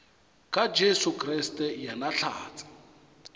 ka jesu kriste yena hlatse